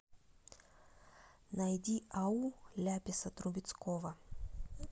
найди ау ляписа трубецкого